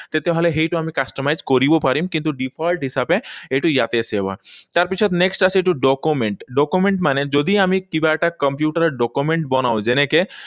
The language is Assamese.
তেতিয়াহলে সেইটো আমি customize কৰিব পাৰিম। কিন্তু default হিচাপে সেইটো ইয়াতে save হয়। তাৰপিছত next আছে এইটো document. Document মানে যদি আমি কিবা এটা কম্পিউটাৰত document বনাও, যেনেকৈ